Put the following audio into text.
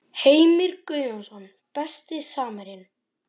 Heimir Guðjónsson Besti samherjinn?